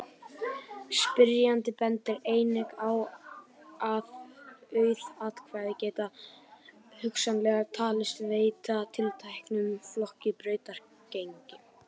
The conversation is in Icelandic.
Spyrjandi bendir einnig á að auð atkvæði geti hugsanlega talist veita tilteknum flokki brautargengi.